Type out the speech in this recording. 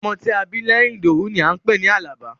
Ọmọ tí a bá bí lẹ́yìn Ìdòwú ni à ń pè ní Àlàbá.